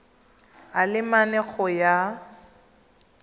a le mane go ya